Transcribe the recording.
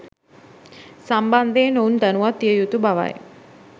සම්බන්ධයෙන් ඔවුන් දැනුවත් විය යුතු බවයි.